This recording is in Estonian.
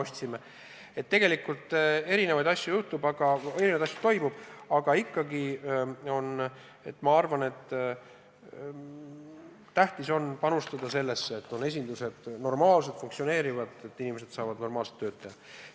Nii et tegelikult mitmesuguseid asju toimub, aga minu arvates on tähtis rohkem panustada sellesse, et on funktsioneerivad esindused, et inimesed saavad normaalselt tööd teha.